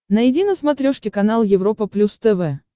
найди на смотрешке канал европа плюс тв